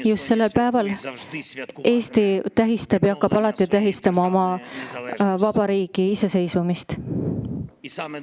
Just sellel päeval on Eesti Vabariik tähistanud ja jääb alati tähistama oma iseseisvumist.